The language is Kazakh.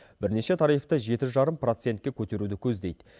бірнеше тарифті жеті жарым процентке көтеруді көздейді